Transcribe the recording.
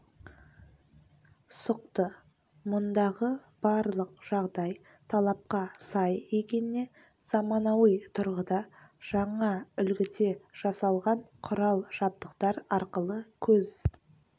сұқты мұндағы барлық жағдай талапқа сай екеніне заманауи тұрғыда жаңа үлгіде жасалған құрал-жабдықтар арқылы көз